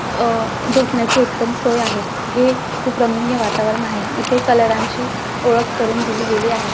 अ झोपण्याची उत्तम सोय आहे हे खूप रमणीय वातावरण आहे इथे कलरां ची ओळख करून दिली गेली आहे.